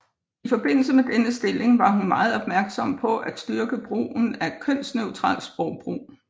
I forbindelse med denne stilling var hun meget opmærksom på styrke brugen af et kønsneutralt sprogbrug